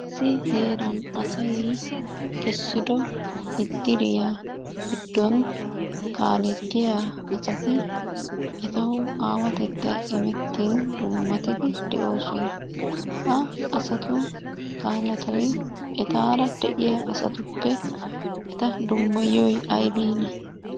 Issi heran asay essido iddiriya giddon kaalettiya asati etawu aawatettay imettin dummatidi de'oosona. Ha asatu kaaletoy etaara de'iya asatuppe eta dummayiyoy ayibiinee?